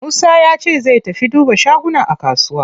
Musa yace zai tafi duba shaguna a kusuwa.